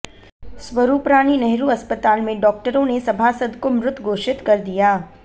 स्वरूपरानी नेहरू अस्पताल में डॉक्टरों ने सभासद को मृत घोषित कर दिया